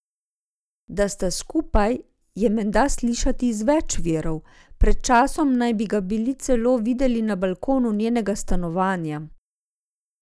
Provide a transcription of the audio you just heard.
Da sta skupaj, je menda slišati iz več virov, pred časom naj bi ga bili celo videli na balkonu njenega stanovanja.